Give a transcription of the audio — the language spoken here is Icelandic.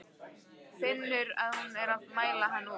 Finnur að hún er að mæla hann út.